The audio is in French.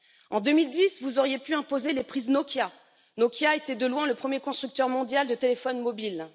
En 2010, vous auriez pu imposer les prises Nokia, qui était de loin le premier constructeur mondial de téléphones mobiles.